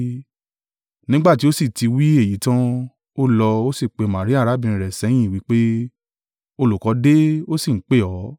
Nígbà tí ó sì ti wí èyí tan, ó lọ, ó sì pe Maria arábìnrin rẹ̀ sẹ́yìn wí pé, “Olùkọ́ dé, ó sì ń pè ọ́.”